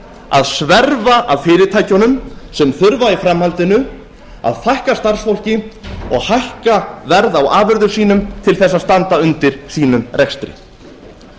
að sverfa að fyrirtækjunum sem þurfa í framhaldinu að fækka starfsfólki og hækka verð á afurðum sínum til þess að standa undir sínum rekstri